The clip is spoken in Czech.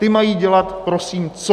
Ty mají dělat prosím co?